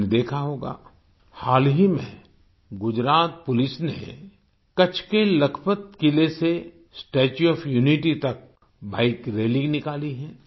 आपने देखा होगा हाल ही में गुजरात पुलिस ने कच्छ के लखपत किले से स्टेच्यू ओएफ यूनिटी तक बाइक रैली निकाली है